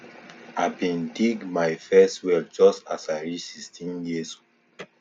i bin dig my first well just as i reach sixteen years